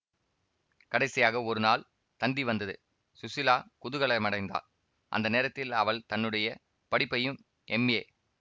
கடைசியாக ஒரு நாள் தந்தி வந்தது ஸுசீலா குதூகலமடைந்தாள் அந்த நேரத்தில் அவள் தன்னுடைய படிப்பையும் எம்ஏ